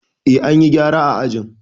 Eh, an yi gyara a ajin.